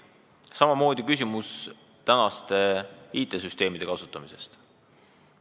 Samamoodi on siin küsimus IT-süsteemide kasutamise kohta.